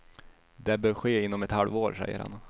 Det bör ske inom ett halvår, säger han.